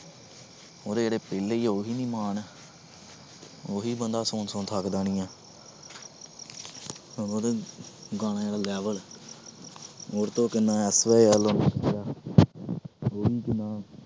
ਉਹਦੇ ਜਿਹੜੇ ਪਹਿਲੇ ਆ ਉਹੀ ਨੀ ਮਾਣ ਉਹੀ ਬੰਦਾ ਸੁਣ ਸੁਣ ਥੱਕਦਾ ਨੀ ਹੈ ਉਹਦੇ ਗਾਣਿਆਂ ਦੇ level ਕਿੰਨਾ